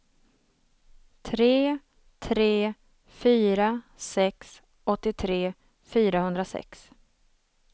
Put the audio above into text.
tre tre fyra sex åttiotre fyrahundrasex